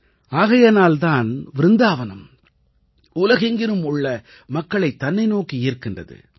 ஆகையினால் தான் விருந்தாவனம் உலகெங்கிலும் உள்ள மக்களைத் தன்னை நோக்கி ஈர்க்கின்றது